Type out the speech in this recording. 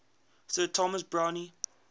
sir thomas browne